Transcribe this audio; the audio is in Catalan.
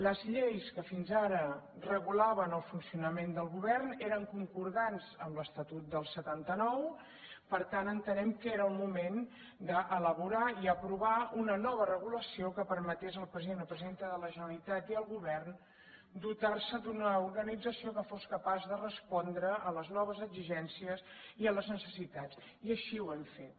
les lleis que fins ara regulaven el funcionament del govern eren concordants amb l’estatut del setanta nou per tant entenem que era el moment d’elaborar i aprovar una nova regulació que permetés al president o presidenta de la generalitat i al govern dotar se d’una organització que fos capaç de respondre a les noves exigències i a les necessitats i així ho hem fet